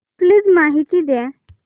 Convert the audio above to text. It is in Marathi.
प्लीज माहिती द्या